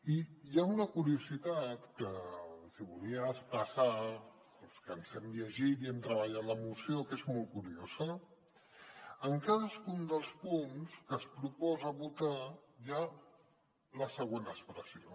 i hi ha una curiositat que els hi volia expressar als que ens hem llegit i hem treballat la moció que és molt curiosa en cadascun dels punts que es proposa votar hi ha la següent expressió